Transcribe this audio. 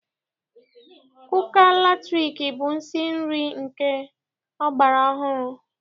Kuka latrik bụ nsi nri nke ọgbara ọhụrụ.